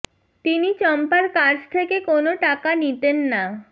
তিনি চম্পার কাছ থেকে কোনও টাকা নিতেন না